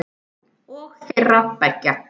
Og þeirra beggja.